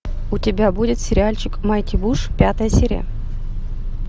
у тебя будет сериальчик майти буш пятая серия